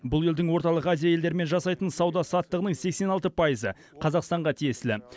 бұл елдің орталық азия елдерімен жасайтын сауда саттығының сексен алты пайызы қазақстанға тиесілі